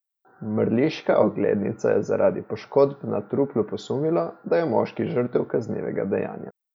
Mrliška oglednica je zaradi poškodb na truplu posumila, da je moški žrtev kaznivega dejanja.